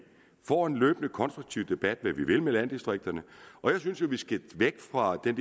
får en løbende konstruktiv debat om hvad vi vil med landdistrikterne og jeg synes jo at vi skal væk fra den